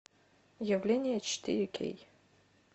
явление четыре кей